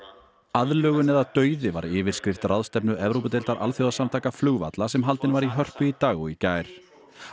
aðlögun eða dauði var yfirskrift ráðstefnu Evrópudeildar alþjóðasamtaka flugvalla sem haldin var í Hörpu í dag og í gær